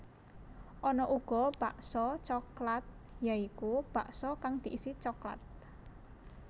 Ana uga bakso coklat ya iku bakso kang diisi coklat